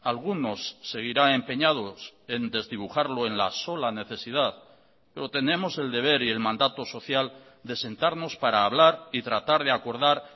algunos seguirán empeñados en desdibujarlo en la sola necesidad pero tenemos el deber y el mandato social de sentarnos para hablar y tratar de acordar